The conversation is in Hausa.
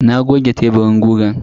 Na goge teburin gugan.